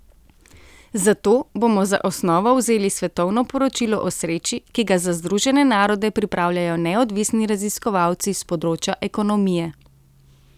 Zato bomo za osnovo vzeli svetovno poročilo o sreči, ki ga za Združene narode pripravljajo neodvisni raziskovalci s področja ekonomije.